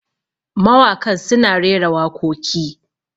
mawakan suna rera wakoki